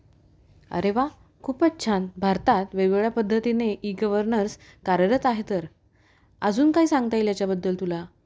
अरे वा खूपच छान! भारतात वेगवेगळ्या पद्धतीने ई-गव्हर्नन्स कार्यरत आहे तर. अजून काय सांगता येईल याच्या बद्दल तुला ?